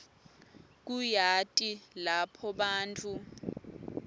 kuyati lapho bantfu